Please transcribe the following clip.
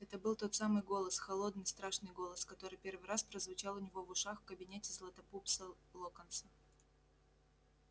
это был тот самый голос холодный страшный голос который первый раз прозвучал у него в ушах в кабинете златопуста локонса